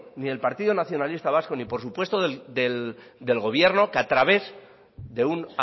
ni el partido nacionalista vasco ni por supuesto del gobierno que a través de un